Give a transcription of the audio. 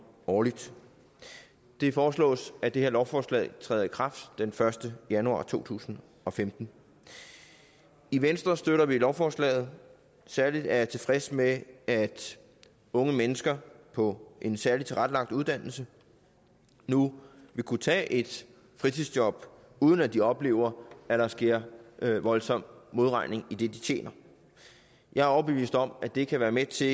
årligt det foreslås at det her lovforslag træder i kraft den første januar to tusind og femten i venstre støtter vi lovforslaget særlig er jeg tilfreds med at unge mennesker på en særligt tilrettelagt uddannelse nu vil kunne tage et fritidsjob uden at de oplever at der sker voldsom modregning i det de tjener jeg er overbevist om at det kan være med til